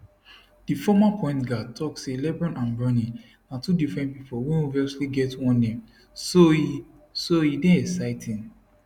di former pointguard tok say lebron and bronny na two different pipo wey obviously get one name so e so e dey exciting